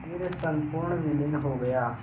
फिर संपूर्ण विलीन हो गया